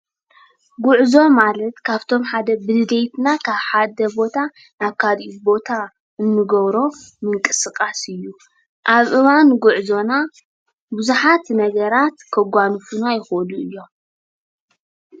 ጉዕዞ ማለት ካብቶም ብደሌትና ሓደ ቦታ ናብ ካሊእ ቦታ እንገብሮ ምንቅስቃስ እዩ። ኣብ እዋን ጉዕዞና ብዙሓት ነገራት ከጋንፉና ይክእሉ እዮም።